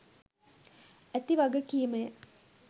ඇති වගකීමය.